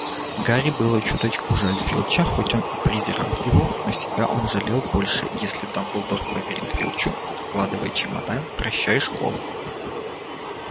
гарри было чуточку жаль филча хоть он и презирал его но себя он жалел больше если дамблдор поверит филчу складывай чемодан прощай школа